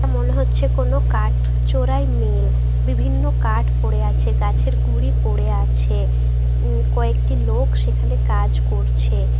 মনে হচ্ছে কোন কাঠ চোরাই মেল বিভিন্ন কাঠ পড়ে আছে গাছের গুড়ি পড়ে আছে উ_উ কয়েকটি লোক সেখানে কাজ করছে ।